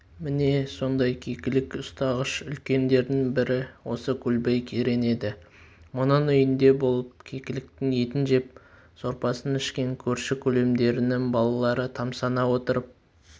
міне сондай кекілік ұстағыш үлкендердің бірі осы көлбай керең еді мұның үйінде болып кекіліктің етін жеп сорпасын ішкен көрші-көлемдерінің балалары тамсана отырып